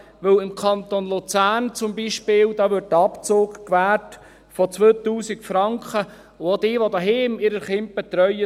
Denn im Kanton Luzern zum Beispiel wird ein Abzug gewährt von 2000 Franken, und auch für diejenigen, welche ihre Kinder zuhause betreuen.